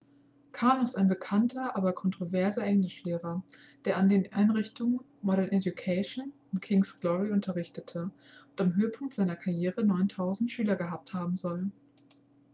karno ist ein bekannter aber kontroverser englischlehrer der an den einrichtungen modern education und king's glory unterrichtete und am höhepunkt seiner karriere 9000 schüler gehabt haben soll